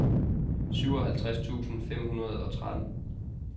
syvoghalvtreds tusind fem hundrede og tretten